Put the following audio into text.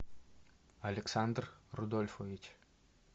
александр рудольфович